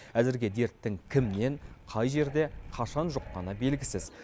әзірге дерттің кімнен қай жерде қашан жұққаны белгісіз